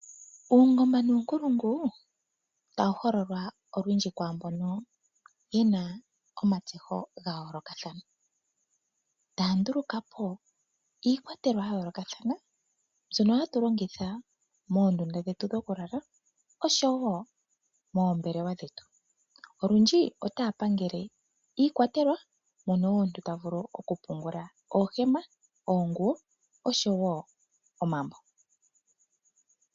Uungomba nuunkulungu tawu hololwa olwindji kwaa mbono ye na omatseho ga yoolokathana. Taa nduluka po iikwatelwa ya yoolokathana mbyono hatu longitha moondunda dhetu dhokulala, oshowo moombelewa dhetu. Olundji otaa pangele iikwatelwa, mono omuntu ta vulu okupungula oohema, oonguwo oshowo omambo.